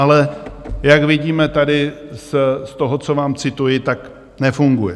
Ale jak vidíme tady z toho, co vám, cituji, tak nefunguje.